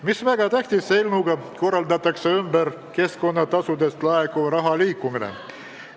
Mis väga tähtis, eelnõuga korraldatakse ümber keskkonnatasudest laekuva raha liikumine.